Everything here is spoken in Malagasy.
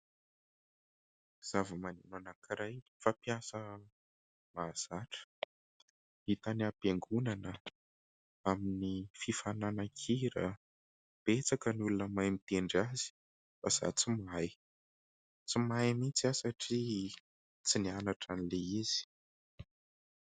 Zavamaneno anankiray fampiasa mahazatra. Hita any ampiangonana, amin'ny fifaninanan-kira. Betsaka ny olona mahay mitendry azy fa izaho tsy mahay. Tsy mahay mihitsy aho satria tsy nianatra an'ilay izy.